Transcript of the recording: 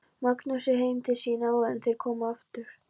Magnúsi heim til sín áður en þeir komu aftur.